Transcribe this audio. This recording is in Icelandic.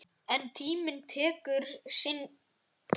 En tíminn tekur sinn toll.